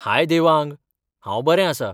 हाय देवांग ! हांव बरें आसा.